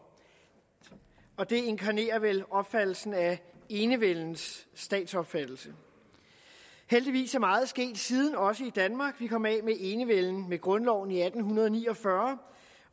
og det inkarnerer vel opfattelsen af enevældens statsopfattelse heldigvis er meget sket også i danmark siden vi kom af med enevælden med grundloven i atten ni og fyrre